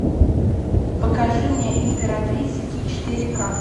покажи мне императрица ки четыре ка